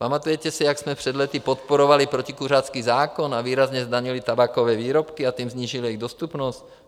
Pamatujete si, jak jsme před lety podporovali protikuřácký zákon a výrazně zdanili tabákové výrobky, a tím snížili jejich dostupnost?